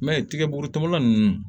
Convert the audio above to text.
I m'a ye tigɛburutubala nunnu